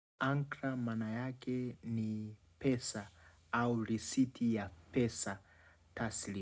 Ankra maana yake ni pesa au risiti ya pesa tasili.